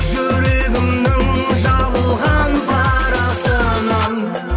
жүрегімнің жабылған парасынан